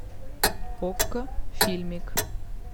окко фильмик